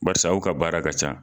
Barisa aw ka baara ka ca.